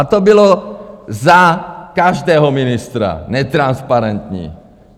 A to bylo za každého ministra, netransparentní.